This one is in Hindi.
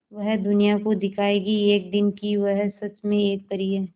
वह दुनिया को दिखाएगी एक दिन कि वह सच में एक परी है